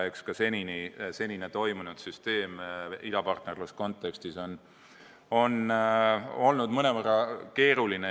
Eks ka senine toiminud süsteem idapartnerluse kontekstis on olnud mõnevõrra keeruline.